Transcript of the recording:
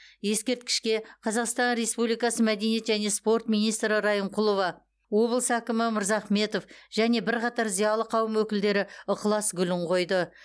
ескерткішке қазақстан республикасы мәдениет және спорт министрі а райымқұлова облыс әкімі а мырзахметов және бірқатар зиялы қауым өкілдері ықылас гүлін қойды